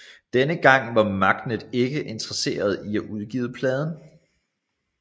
Denne gang var Magnet ikke interesserede i at udgive pladen